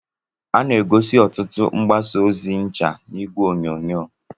a na-egosi ọtụtụ mgbasa ozi ncha na igwe onyonyo